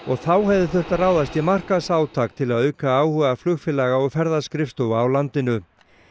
þá hefði þurft að ráðast í markaðsátak til að auka áhuga flugfélaga og ferðaskrifstofa á landinu